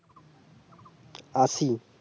আশি